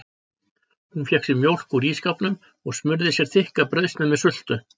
Hún fékk sér mjólk úr ísskápnum og smurði sér þykka brauðsneið með sultu.